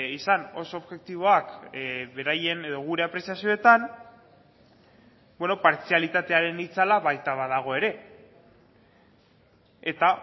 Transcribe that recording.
izan oso objektiboak beraien edo gure apreziazioetan partzialitatearen itzala baita badago ere eta